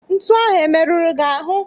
Ntu ahụ emeruru gị ahụ?